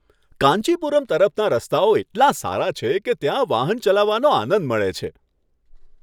કાંચીપુરમ તરફના રસ્તાઓ એટલા સારા છે કે ત્યાં વાહન ચલાવવાનો આનંદ મળે છે.